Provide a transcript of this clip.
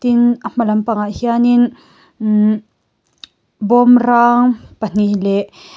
tin a hma lam pangah hianin imm bawm rang pahnih leh--